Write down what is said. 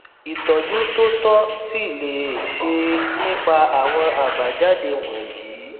ìtọjú tó tọ sì leé ṣeé nípa àwọn àbájáde wọnyí